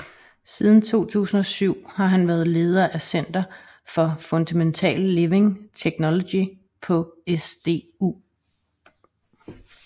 Siden 2007 har han været leder af Center for Fundamental Living Technology på SDU